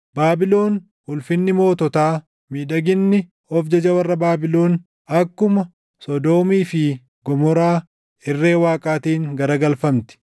Baabilon ulfinni moototaa, miidhaginni of jaja warra Baabilon akkuma Sodoomii fi Gomoraa irree Waaqaatiin garagalfamti.